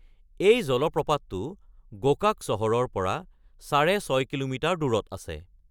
এই জলপ্ৰপাতটো গোকাক চহৰৰ পৰা সাঢ়ে ছয় কিলোমিটাৰ দূৰত আছে।